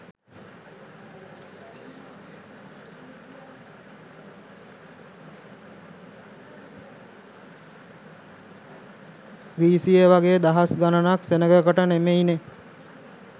ග්‍රීසියේ වගේ දහස් ගණනක් සෙනගකට නෙමෙයිනෙ.